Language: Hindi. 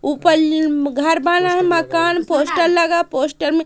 ऊपर ली म घर बना है मकान पोस्टर लगा पोस्टर मे--